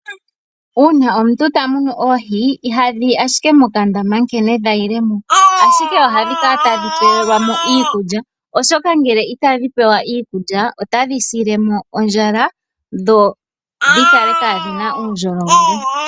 Uuna omuntu tamunu oohi, iha dhiyi ashike mokandama nkene dhayilemo, ashike ohadhi kala tadhi pewelwamo iikulya, oshoka ngele itadhi pewa iikulya otadhi silemo ondjala dho dhikale kadhina uundjolo wele.